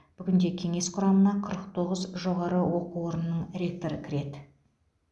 бүгінде кеңес құрамына қырық тоғыз жоғары оқу орнының ректоры кіреді